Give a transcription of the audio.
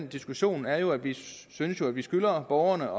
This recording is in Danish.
diskussionen er jo at vi synes at vi skylder borgerne